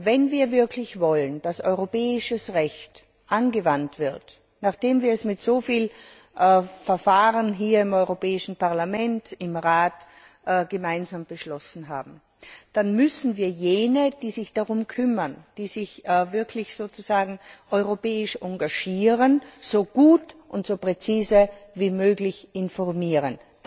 Wenn wir wirklich wollen, dass das europäische Recht angewandt wird, nachdem wir es mit so vielen Verfahren im Europäischen Parlament und im Rat gemeinsam beschlossen haben, dann müssen wir jene, die sich darum kümmern, die sich wirklich europäisch engagieren, so gut und so präzise wie möglich informieren.